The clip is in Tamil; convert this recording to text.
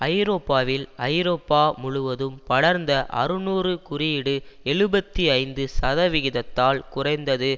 ஐரோப்பாவில் ஐரோப்பா முழுவதும் படர்ந்த அறுநூறு குறியீடு எழுபத்தி ஐந்து சதவிகிதத்தால் குறைந்தது